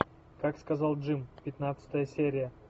как сказал джим пятнадцатая серия